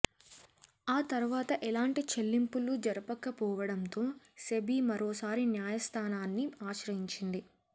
ఆ తర్వాత ఎలాంటి చెల్లింపులు జరపకపోవడంతో సెబీ మరోసారి న్యాయస్థానాన్ని ఆశ్రయించింది